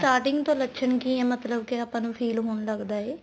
starting ਤੋਂ ਲੱਛਣ ਕੀ ਹੈ ਮਤਲਬ ਕੇ ਆਪਾਂ ਨੂੰ feel ਹੋਣ ਲੱਗਦਾ ਹੈ